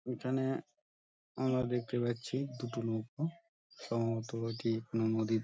এখানে আমরা দেখতে পাচ্ছি দুটো নৌকো সম্ভবত এটি নদীর --